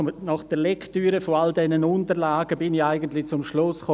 Nach der Lektüre all dieser Unterlagen bin ich eigentlich zum Schluss gekommen: